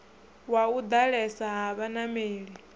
wa u ḓalesa ha vhanameli